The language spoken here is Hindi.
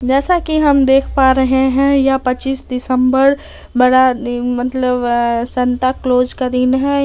जैसा की हम देख पा रहे हैं यह पच्चीस दिसंबर बड़ा दि मतलब संता क्लोस का दिन है।